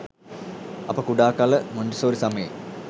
අප කුඩා කල මොන්ටිසෝරි සමයේ